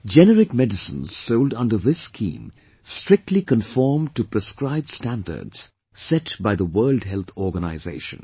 Generic medicines sold under this scheme strictly conform to prescribed standards set by the World Health Organisation